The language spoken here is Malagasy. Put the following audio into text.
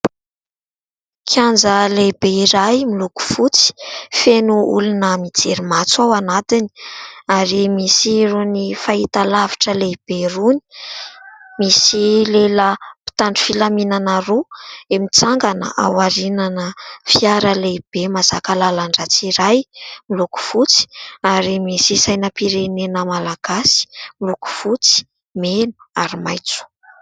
Kianja lehibe iray miloko fotsy. Feno olona mijery "match" ao anatiny, ary misy rony fahitalavitra lehibe rony. Misy lehilahy mpitandro filaminana roa, mitsangana ao arinan'ny fiara lehibe mahazaka lalan-dratsy iray, miloko fotsy ; ary misy sainam-pirenena malagasy miloko fotsy, mena ary maintso.